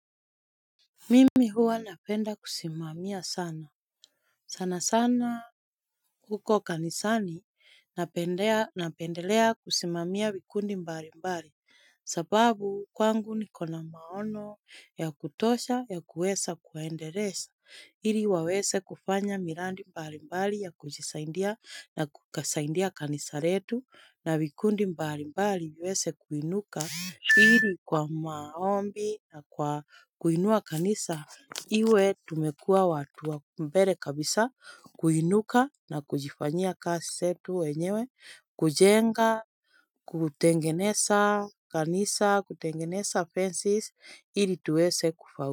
Mimi huwa napenda kusimamia sana, sana sana huko kanisani napendelea kusimamia vikundi mbali mbali sababu kwangu niko na maono ya kutosha ya kuweza kuwaendeleza Ili waweze kufanya miradi mbali mbali ya kujisaidia na kusaidia kanisa letu na vikundi mbali mbali viweze kuinuka ili kwa maombi na kwa kuinua kanisa Iwe tumekua watu wa mbele kabisa kuinuka na kujifanya kazi zetu wenyewe kujenga, kutengeneza kanisa, kutengeneza fences ili tuweze kufaulu.